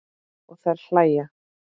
Og þær hlæja.